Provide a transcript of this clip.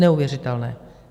Neuvěřitelné.